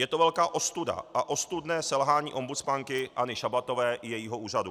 Je to velká ostuda a ostudné selhání ombudsmanky Anny Šabatové i jejího úřadu.